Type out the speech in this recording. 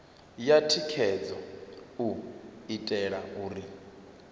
ya thikhedzo u itela uri